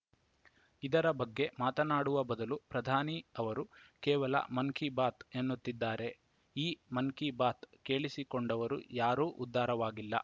ಇದರ ಬಗ್ಗೆ ಮಾತನಾಡುವ ಬದಲು ಪ್ರಧಾನಿ ಅವರು ಕೇವಲ ಮನ್‌ ಕಿ ಬಾತ್‌ ಎನ್ನುತ್ತಿದ್ದಾರೆ ಈ ಮನ್‌ ಕಿ ಬಾತ್‌ ಕೇಳಿಸಿಕೊಂಡವರು ಯಾರೂ ಉದ್ಧಾರವಾಗಿಲ್ಲ